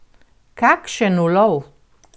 Kakšen ulov!